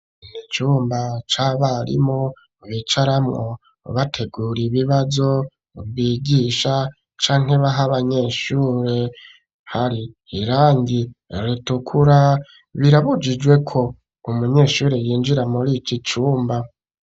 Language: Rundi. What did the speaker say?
Ni icumba c'abarimu, bicaramwo, bategura ibibazo bigisha, canke baha abanyeshuri; hari irangi ritukura, birabujijwe ko, umunyeshuri, yinjira muri iki cumba.